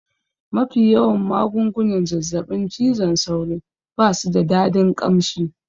Mafi yawan magungunan zazzaɓin cizon sauro basu da dadin ƙamshi